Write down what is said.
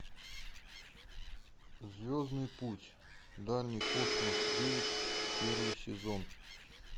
звездный путь дальний космос девять первый сезон